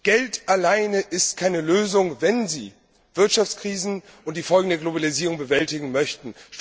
Geld alleine ist keine Lösung, wenn Sie Wirtschaftskrisen und die Folgen der Globalisierung bewältigen möchten.